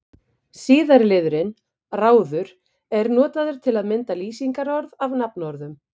Síðara liðurinn-ráður er notaður til að mynda lýsingarorð af nafnorðum.